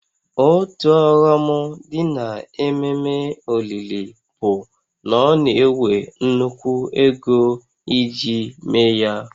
Otu ọghọm dị n'ememe olili bụ na ọ na-ewe nnukwu ego iji mee ya